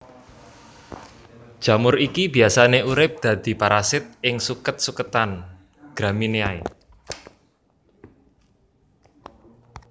Jamur iki biasane urip dadi parasit ing suket suketan Gramineae